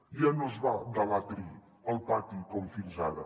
ja no es va de l’atri al pati com fins ara